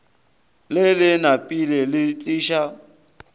le le napile le tiiša